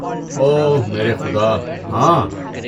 او میرے خدا، ہاں!